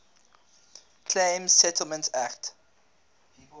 claims settlement act